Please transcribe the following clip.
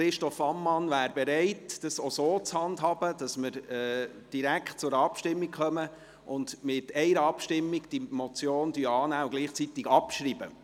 Christoph Ammann wäre bereit, dies auch so zu handhaben, sodass wir direkt zur Abstimmung kommen könnten, um diese Motion mit einer Abstimmung anzunehmen und sie gleichzeitig abzuschreiben.